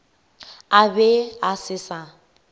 a be a se sa